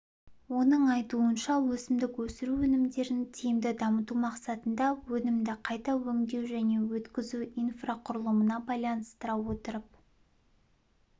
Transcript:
оның айтуынша өсімдік өсіру өнімдерін тиімді дамыту мақсатында өнімді қайта өңдеу және өткізу инфрақұрылымына байланыстыра отырып